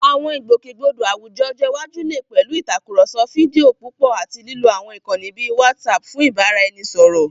Àwọn ìgbòkègbodò àwùjọ ọjọ́ iwájú lè pẹ̀lú ìtàkùrọ̀sọ fídíò púpọ̀ àti lílo àwọn ìkànnì bíi WhatsApp fún ìbáraẹnisọ̀rọ̀.